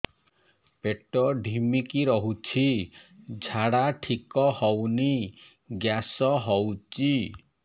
ପେଟ ଢିମିକି ରହୁଛି ଝାଡା ଠିକ୍ ହଉନି ଗ୍ୟାସ ହଉଚି